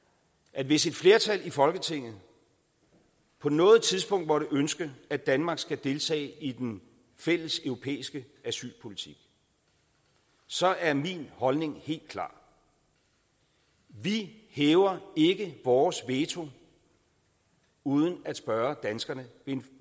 at hvis et flertal i folketinget på noget tidspunkt måtte ønske at danmark skal deltage i den fælles europæiske asylpolitik så er min holdning helt klar vi hæver ikke vores veto uden at spørge danskerne ved en